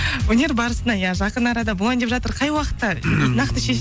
өнер барысына иә жақын арада болайын деп жатыр қай уақытта нақты